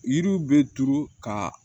Yiriw bɛ turu ka